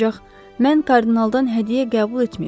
Ancaq mən kardinaldan hədiyyə qəbul etməyəcəm.